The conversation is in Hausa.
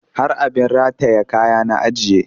Har abin rataye kaya na ajiye